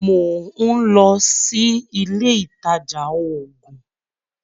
Mò ń lọ sí ilé ìtajà oògùn.